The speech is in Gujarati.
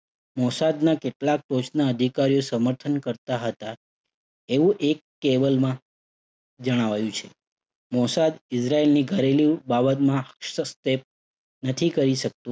મોસાદના કેટલાક ટોચના અધિકારીઓ સમર્થન કરતા હતા. એવું એક અહેવાલમાં જણાવાયું છે. મોસાદ ઇઝરાયેલની ઘરેલુ બાબતમાં હસ્તક્ષેપ નથી કરી શકતું